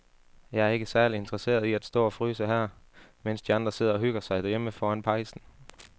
Jeg er ikke særlig interesseret i at stå og fryse her, mens de andre sidder og hygger sig derhjemme foran pejsen.